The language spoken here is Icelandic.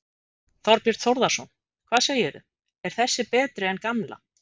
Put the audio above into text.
Þorbjörn Þórðarson: Hvað segirðu, er þessi betri en gamla?